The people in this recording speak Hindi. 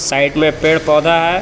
साइड में पेड़ पौधा है.